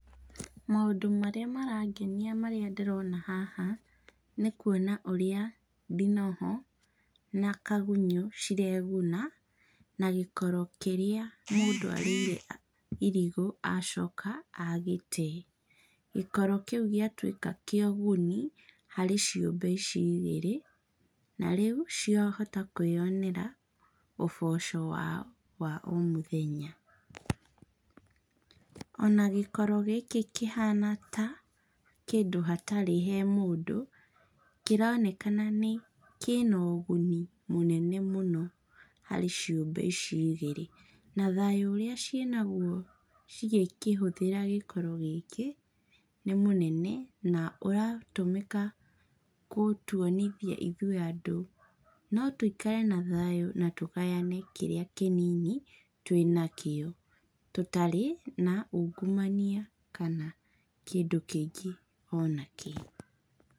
Maũndũ marĩa marangenia marĩa ndĩrona haha, nĩkuona ũrĩa ndinoho na kagunyũ cireguna na gĩkoro kĩrĩa mũndũ arĩire irigũ acoka agĩtee. Gĩkoro kĩu gĩatuĩka kĩa ũguni harĩ ciũmbe ici igĩrĩ, narĩu ciahota kwĩyonera ũboco wao wa omũthenya. Ona gĩkoro gĩkĩ kĩhana ta kĩndũ hatarĩ he mũndũ, kĩronekana kĩna ũguni mũnene mũno harĩ ciũmbe ici igĩrĩ. Na thayũ ũrĩa ciĩnaguo cigĩkĩhũthĩra gĩkoro gĩkĩ, nĩmũnene na ũratũmĩka gũtuonithia ithuĩ andũ notũikare na thayũ na tũgayane kĩrĩa kĩnini twĩnakĩo tũtarĩ na ungumania kana kĩndũ kĩngĩ ona kĩĩ.